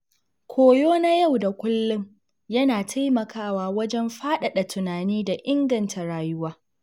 Koyo na yau da kullum yana taimakawa wajen faɗaɗa tunani da inganta rayuwa.